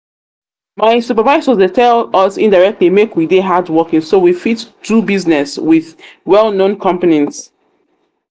My supervisor Dey tell us indirectly make we dey hardworking so we fit dey do business with well known companies